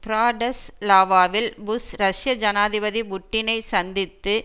பிராடஸ்லாவாவில் Bush ரஷ்ய ஜனாதிபதி புட்டினை சந்தித்து